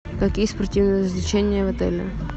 какие спортивные развлечения в отеле